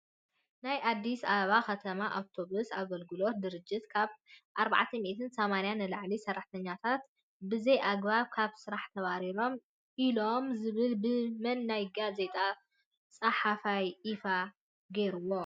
ናይ ኣዲስ ኣበባ ከተማ ኣውቶብስ ኣገለግሎት ድርጅትካብ 480 ንላዕሊሰራሕተኛታት ብዘይ ኣግባብ ካብ ስራሕና ተብሪርና ኢሎም ዝብል ብመን ናይ ጋዜጣ ፅሓፍይ ኢፋ ገይርዎ?